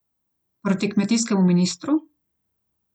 Proti kmetijskemu ministru?